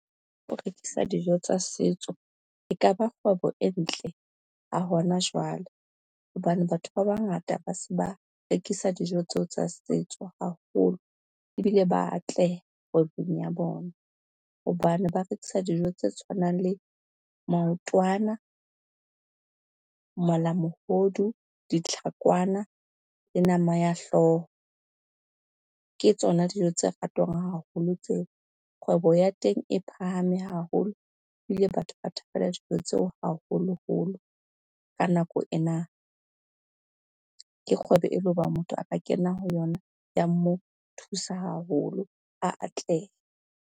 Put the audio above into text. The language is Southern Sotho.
Ha o rekisa dijo tsa setso e ka ba kgwebo e ntle ha hona jwale, hobane batho ba bangata ba se ba rekisa dijo tseo tsa setso haholo ebile ba atleha kgwebong ya bona, hobane ba rekisa dijo tse tshwanang le maotwana, malamohodu, ditlhakwana le nama ya hlooho, ke tsona dijo tse ratwang haholo tseo. Kgwebo ya teng e phahame haholo ebile batho ba thabela dijo tseo, haholoholo ka nako ena, ke kgwebo e le ho ba motho a ka kena ho yona, ya mo thusa haholo atleha.